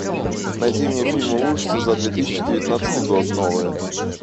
найди мне фильмы ужасов за две тысячи девятнадцатый год новые